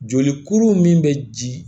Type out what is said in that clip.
Joli kuru min bɛ ji